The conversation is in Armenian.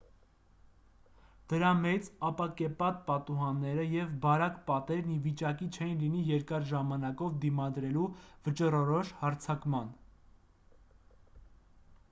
դրա մեծ ապակեպատ պատուհանները և բարակ պատերն ի վիճակի չէին լինի երկար ժամանակով դիմադրելու վճռորոշ հարձակման